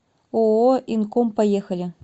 ооо инком поехали